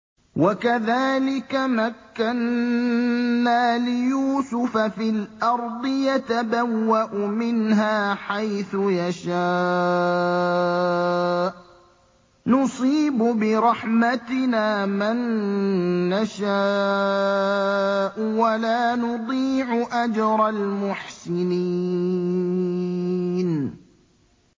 وَكَذَٰلِكَ مَكَّنَّا لِيُوسُفَ فِي الْأَرْضِ يَتَبَوَّأُ مِنْهَا حَيْثُ يَشَاءُ ۚ نُصِيبُ بِرَحْمَتِنَا مَن نَّشَاءُ ۖ وَلَا نُضِيعُ أَجْرَ الْمُحْسِنِينَ